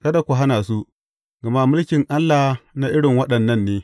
Kada ku hana su, gama mulkin Allah na irin waɗannan ne.